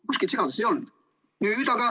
Kuskil segadust ei olnud.